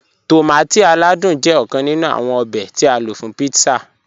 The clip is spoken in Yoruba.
Tọmátí aládùn jẹ́ ọ̀kàn nínú awọn òbè tí a ló fún pítsà.